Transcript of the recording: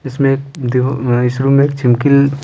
इसमें एक धियो अ इस रूम में एक छिमकिल--